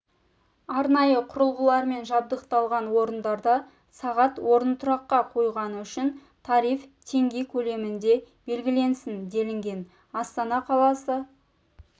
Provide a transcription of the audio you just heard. арнайы құрылғылармен жабдықталған орындарда сағат орынтұраққа қойғаны үшін тариф теңге көлемінде белгіленсін делінген астана қаласы